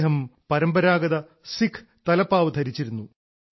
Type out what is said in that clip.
അദ്ദേഹം പരമ്പരാഗത സിഖ് തലപ്പാവ് ധരിച്ചിരുന്നു